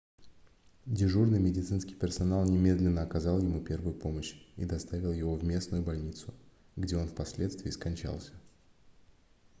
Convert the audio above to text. дежурный медицинский персонал немедленно оказал ему первую помощь и доставил его в местную больницу где он впоследствии скончался